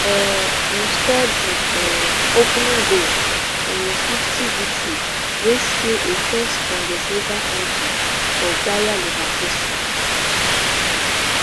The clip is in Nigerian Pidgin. um im score di um opening goal in a fifty victory wey seal a first bundesliga title for bayer leverkusen